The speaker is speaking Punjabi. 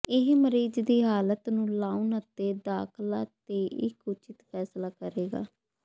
ਇਹ ਮਰੀਜ਼ ਦੀ ਹਾਲਤ ਨੂੰ ਲਾਉਣ ਅਤੇ ਦਾਖਲਾ ਤੇ ਇੱਕ ਉਚਿਤ ਫ਼ੈਸਲਾ ਕਰੇਗਾ